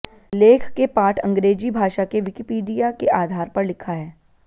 लेख के पाठ अंग्रेजी भाषा के विकिपीडिया के आधार पर लिखा है